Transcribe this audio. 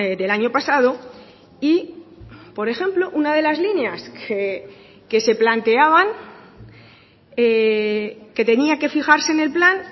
del año pasado y por ejemplo una de las líneas que se planteaban que tenía que fijarse en el plan